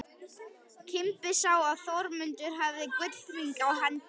Kimbi sá að Þormóður hafði gullhring á hendi.